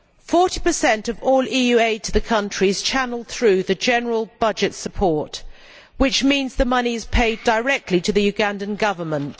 40 of all EU aid to the country is channelled through the general budget support, which means that the money is paid directly to the Ugandan Government.